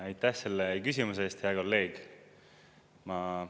Aitäh, selle küsimuse eest, hea kolleeg!